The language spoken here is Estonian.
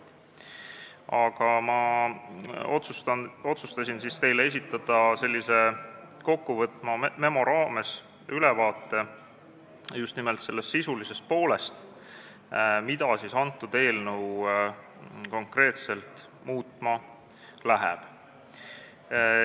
Aga ma otsustasin esitada teile kokkuvõtva memo raames ülevaate just nimelt sellest sisulisest poolest, mida antud eelnõu konkreetselt muutma läheb.